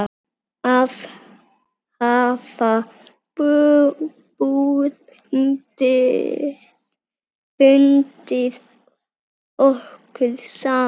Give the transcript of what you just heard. Hafa bundið okkur saman.